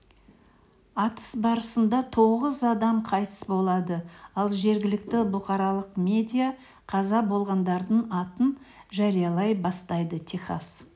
атыс барысында тоғыз адам қайтыс болады ал жергілікті бұқаралық медиа қаза болғандардың атын жариялай бастайды техас